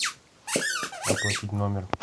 оплатить номер